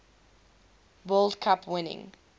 world cup winning